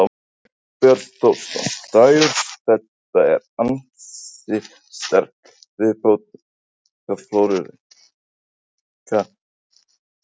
Þorbjörn Þórðarson: Dagur þetta er ansi sterk viðbót í menningarflóru Reykvíkinga ekki satt?